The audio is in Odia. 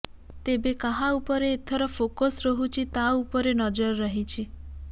ତେବେ କାହା ଉପରେ ଏଥର ଫୋକସ ରହୁଛି ତା ଉପରେ ନଜର ରହିଛି